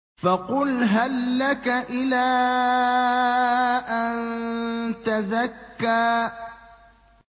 فَقُلْ هَل لَّكَ إِلَىٰ أَن تَزَكَّىٰ